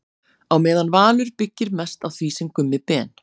Á meðan Valur byggir mest á því sem Gummi Ben.